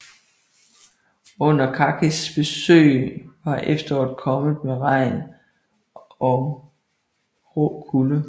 Under Karskis besøg var efteråret kommet med regn og rå kulde